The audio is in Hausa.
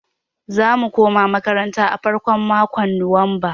Za mu koma makaranta a farkon makon nuwamba.